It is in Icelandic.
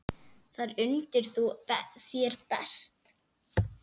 Þar undir þú þér best.